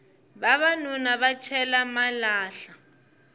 vavanuna va cela malahla